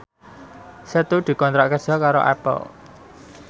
Setu dikontrak kerja karo Apple